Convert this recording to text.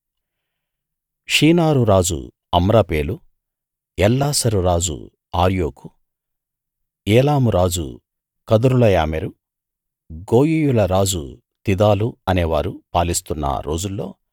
షీనారు రాజు అమ్రాపేలు ఎల్లాసరు రాజు అర్యోకు ఏలాము రాజు కదొర్లాయోమెరు గోయీయుల రాజు తిదాలు అనేవారు పాలిస్తున్న రోజుల్లో